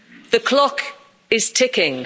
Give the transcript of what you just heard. The clock is ticking.